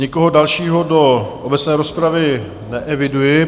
Nikoho dalšího do obecné rozpravy neeviduji.